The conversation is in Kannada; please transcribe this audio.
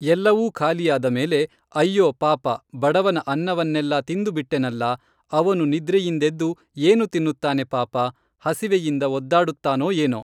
ಎಲ್ಲವೂ ಖಾಲಿಯಾದಮೇಲೆ ಅಯ್ಯೋ ಪಾಪ ಬಡವನ ಅನ್ನವನ್ನೆಲ್ಲಾ ತಿಂದು ಬಿಟ್ಟೆನಲ್ಲಾ ಅವನು ನಿದ್ರೆಯಿಂದೆದ್ದು ಏನು ತಿನ್ನುತ್ತಾನೆ ಪಾಪ, ಹಸಿವೆಯಿಂದ ಒದ್ದಾಡುತ್ತಾನೋ ಏನೋ.